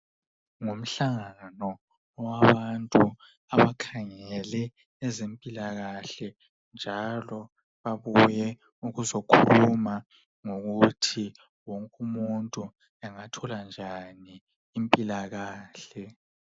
Ngumhlangano wabantu abakhangele ezempilakahle njalo babuye ukuzokhuluma ngokuthi wonke umuntu angathola njani impilakahle.